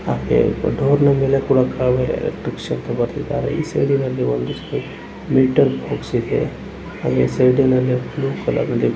ಹಾಗೆ ಡೋರ್ ನ ಎಲೆ ಕೂಡ ಕಾವೇರಿ ಎಲೆಕ್ಟ್ರಿಕಲ್ಸ್ ಅಂತ ಬರ್ದಿದ್ದಾರೆ ಈ ಸೈಡಿನಲ್ಲಿ ಒಂದು ಮೀಟರ್ ಬಾಕ್ಸ್ ಇದೆ ಅಲ್ಲಿ ಸೈಡಿನಲ್ಲಿ ಬ್ಲೂ ಕಲರ್ ನಲ್ಲಿ ಬರ್ದಿದ್ದ--